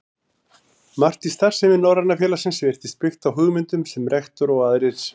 Margt í starfsemi Norræna félagsins virtist byggt á hugmyndum, sem rektor og aðrir